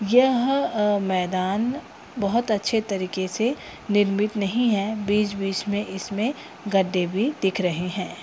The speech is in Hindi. यह मैदान बहुत अच्छे तरीके से निर्मित नहीं है बीच-बीच में इसमें गड्ढे भी दिख रहे हैं।